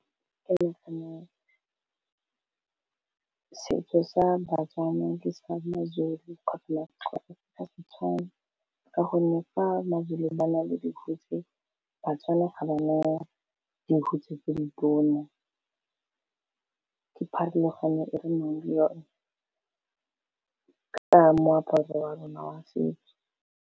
Ke nagana setso sa baTswana di sa maZulu ga di tshwane ka gonne fa maZulu ba na le dihutshe baTswana ga ba na le dihutshe tse ditone ka pharologano e re nang le yone ka moaparo wa rona wa setso.